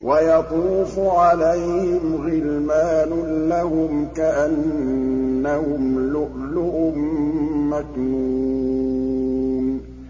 ۞ وَيَطُوفُ عَلَيْهِمْ غِلْمَانٌ لَّهُمْ كَأَنَّهُمْ لُؤْلُؤٌ مَّكْنُونٌ